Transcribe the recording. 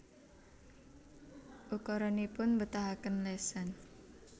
Ukaranipun mbetahaken lesan